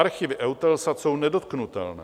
Archivy EUTELSAT jsou nedotknutelné.